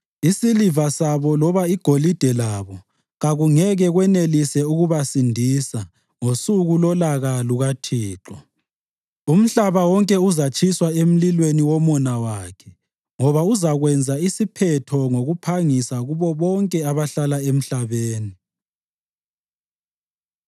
Isiliva sabo loba igolide labo kakungeke kwenelise ukubasindisa ngosuku lolaka lukaThixo. Umhlaba wonke uzatshiswa emlilweni womona wakhe ngoba uzakwenza isiphetho ngokuphangisa kubo bonke abahlala emhlabeni.”